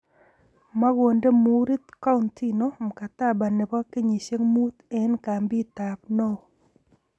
Makonde muurit Coutinho mkataba ne bo kenyisiek mut eng kampit ab Nou.